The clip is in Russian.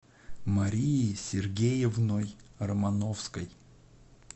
марией сергеевной романовской